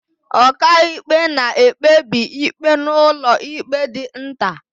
Ọkàikpe na-ekpebi ikpe n'ụlọikpe dị nta.